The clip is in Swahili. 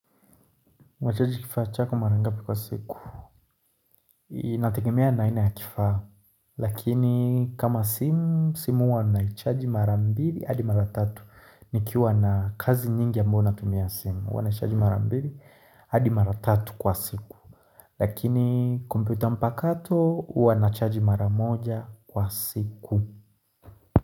Mwachaji kifaa chako mara ngapi kwa siku Inategemea na aina ya kifaa Lakini kama simu, simu huwa naichaji mara mbili hadi mara tatu nikiwa na kazi nyingi ambayo natumia simu huwa nachaji mara mbili hadi mara tatu kwa siku Lakini kumpita mpakato huwa nachaji mara moja kwa siku.